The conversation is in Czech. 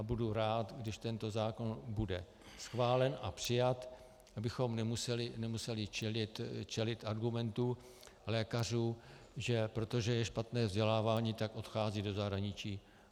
A budu rád, když tento zákon bude schválen a přijat, abychom nemuseli čelit argumentu lékařů, že protože je špatné vzdělávání, tak odcházejí do zahraničí.